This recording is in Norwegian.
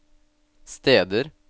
steder